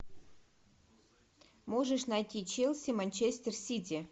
можешь найти челси манчестер сити